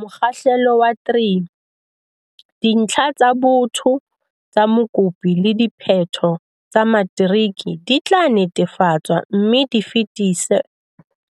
Mokgahlelo wa 3. Dintlha tsa botho tsa mokopi le diphetho tsa matriki di tla netefatswa mme di fetiswe